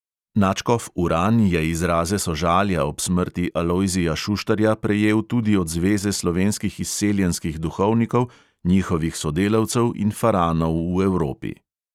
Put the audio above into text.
Nadškof uran je izraze sožalja ob smrti alojzija šuštarja prejel tudi od zveze slovenskih izseljenskih duhovnikov, njihovih sodelavcev in faranov v evropi.